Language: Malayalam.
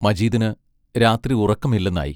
മജീദിന് രാത്രി ഉറക്കമില്ലെന്നായി.